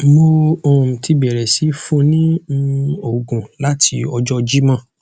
mo um ti bẹrẹ sii fun ni um oogun lati ọjọ jimọ